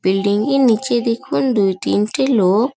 building -এর নিচে দেখুন দুই তিনটে লোক --